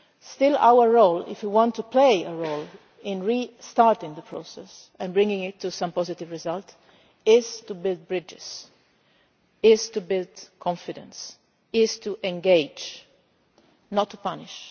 parts. Still, our role if you want to play a role in re starting the process and bringing it to some positive result is to build bridges, to build confidence, to engage and not to